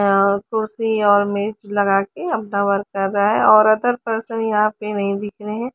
यहां कुर्सी और मेज़ लगाके अपना वर्क कर रहा है और अदर परसन यहां पर नहीं दिख रहे है।